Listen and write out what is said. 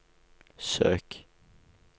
søk